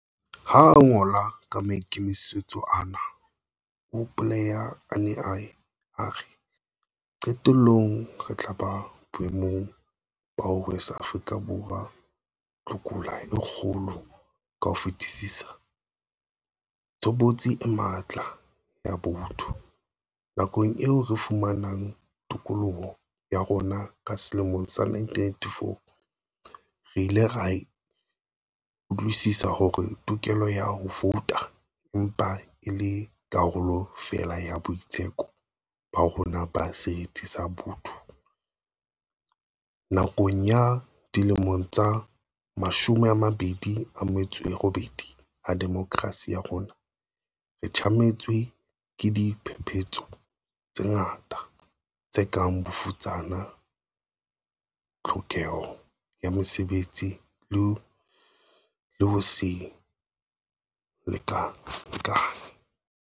Ha a ngola ka maikemisetso ana, o hopoleha a ne a ye a re, "Qetellong re tla ba boemong ba ho rwesa Afrika Borwa tlokola e kgolo ka ho fetisisa - tshobotsi e matla ya botho." Nakong eo re fumanang tokoloho ya rona ka selemo sa 1994, re ile ra utlwisisa hore tokelo ya ho vouta e mpa e le karolo feela ya boitseko ba rona ba seriti sa botho. Nakong ya dilemo tse mashome a mabedi a metso e robedi a demokrasi ya rona, re tjametswe ke diphephetso tse ngata, tse kang bofutsana, tlhokeho ya mesebetsi le ho se lekalekane.